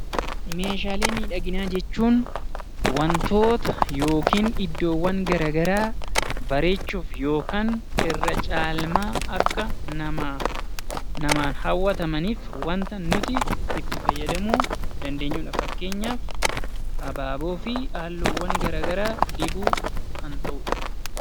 Meeshaalee miidhaginaa jechuun wantoota yookiin iddoowwan garaagaraa bareechuuf yookaan irra caalmaa Akka namaan hawwatamaniif wanta nuti itti fayyadamuu dandeenyudha. Fakkeenyaaf abaaboo fi halluuwwan garaagaraa dibuu kan ta'udha.